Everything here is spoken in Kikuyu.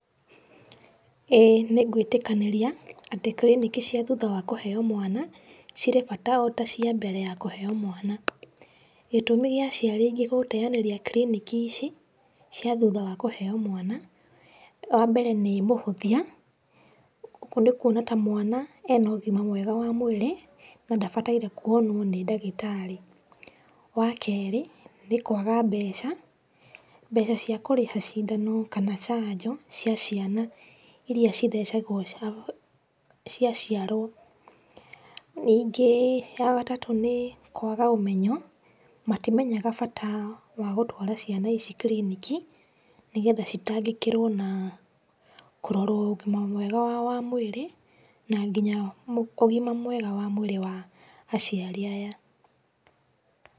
ĩĩ nĩgwitĩkanĩria atĩ kiriniki cia thutha wa kũheo mwana cirĩ bata o ta cia mbere ya kũheo mwana. Gĩtũmi gia aciari aingĩ gũteyanĩria kiriniki ici, cia thutha wa kũheo mwana, wa mbere nĩ mũhũthia nĩkuona ta mwana ena ũgima mwega wa mwĩrĩ nadabataire kuonwo nĩ dagĩtarĩ, wa-kerĩ nĩ kwaga mbeca, mbeca cia kũrĩha cidano kana cajo cia ciana iria cithecagũo ciaciarũo, rĩngĩ ya gatatũ nĩ-kwaga ũmenyo, matimenyaga bata wa gũtwara ciana ici kiriniki nĩgetha citagĩkĩrũo na kũrorũo ũgima wa wamwĩrĩ na nginya ũgima mwega wa mwĩrĩ wa aciari aya.